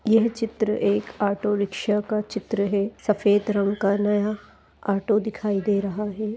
यह चित्र एक ऑटो रिक्शा का चित्र है सफेद रंग का नया ऑटो दिखाई दे रहा है ।